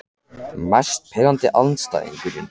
Mest pirrandi andstæðingurinn?